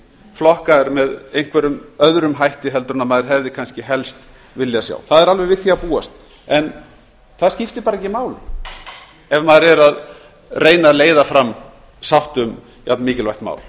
flokkaðir með einhverjum öðrum hætti heldur en maður hefði kannski helst viljað sjá það er alveg við því að búast en það skiptir bara ekki máli ef maður er að reyna að leiða fram sátt um jafnmikilvægt mál